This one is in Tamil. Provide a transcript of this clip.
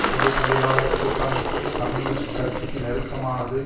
பொது தொழிலாளர் கூட்டமைப்பு கம்யூனிஸ்ட் கட்சிக்கு நெருக்கமானது